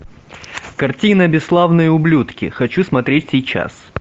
картина бесславные ублюдки хочу смотреть сейчас